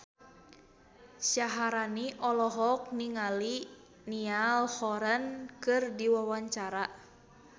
Syaharani olohok ningali Niall Horran keur diwawancara